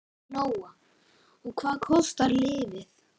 Lóa: Og hvað kostar lyfið?